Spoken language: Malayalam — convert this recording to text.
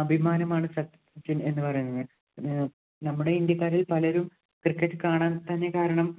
അഭിമാനമാണ് സച്ചിന്‍ എന്ന് പറയുന്നത്. ഏർ നമ്മുടെ ഇന്ത്യക്കാരില്‍ പലരും cricket കാണാന്‍ തന്നെ കാരണം